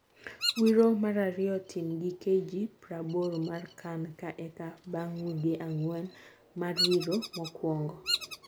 Wiro marariyo tim gi KG prabor mar CAN ka eka bang wige angwen mar wiro mokwongo.